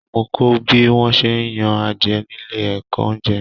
Mo kọ bí wọn ṣe n yan adiẹ nílé ẹ̀kọ́ oúnjẹ.